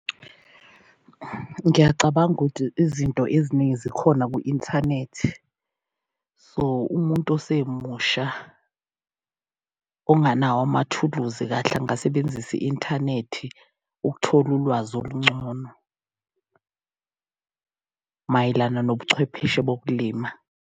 Ngiyacabanga ukuthi izinto eziningi zikhona kwi-inthanethi so umuntu osemusha onganawo amathuluzi kahle angasebenzisa i-inthanethi, ukuthola ulwazi olungcono mayelana nobuchwepheshe bokulima.